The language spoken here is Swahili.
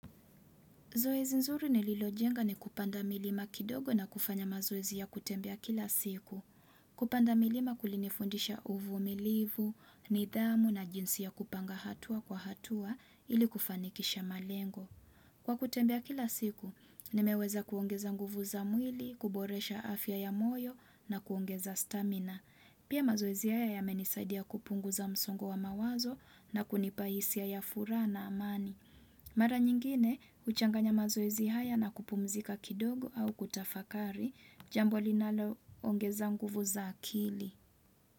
Zoezi nzuri nililojenga ni kupanda milima kidogo na kufanya mazoezi ya kutembea kila siku. Kupanda milima kulinifundisha uvumilivu, nidhamu na jinsi ya kupanga hatua kwa hatua ili kufanikisha malengo. Kwa kutembea kila siku, nimeweza kuongeza nguvu za mwili, kuboresha afya ya moyo na kuongeza stamina. Pia mazoezi haya yamenisaidia kupungu za msongo wa mawazo na kunipa hisia ya furaha na amani. Mara nyingine, huchanganya mazoezi haya na kupumzika kidogo au kutafakari, jambo linaloongeza nguvu za akili.